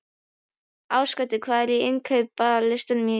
Ásgautur, hvað er á innkaupalistanum mínum?